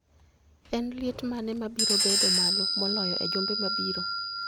En liet mane mabiro bedo malo moloyo e juma mabiro